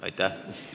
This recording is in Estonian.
Aitäh!